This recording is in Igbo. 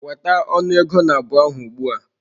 Weta ọnụ ego nabụ ahụ ugbu a!